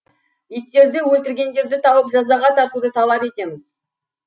иттерді өлтіргендерді тауып жазаға тартуды талап етеміз